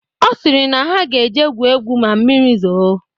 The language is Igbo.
Ọ sịrị na ha ga eje gwuo egwu ma mmiri zoo